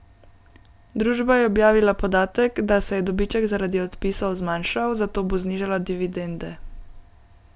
Družba je objavila podatek, da se je dobiček zaradi odpisov zmanjšal, zato bo znižala dividende.